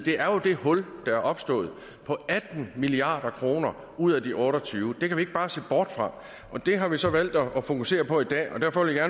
er jo det hul der er opstået på atten milliard kroner ud af de otte og tyve milliard det kan vi ikke bare se bort fra det har vi så valgt at fokusere på i dag derfor vil jeg